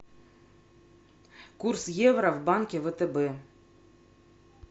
курс евро в банке втб